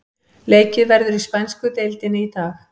Leikið verður í spænsku deildinni í dag.